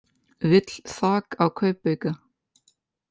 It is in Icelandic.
Vill þak á kaupauka